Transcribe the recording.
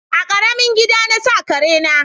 A ƙaramin gida na sa kare na